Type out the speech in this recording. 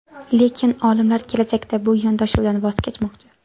Lekin olimlar kelajakda bu yondashuvdan voz kechmoqchi.